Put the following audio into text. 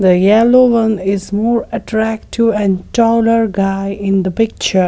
the yellow one is more attractive and taller guy in the picture.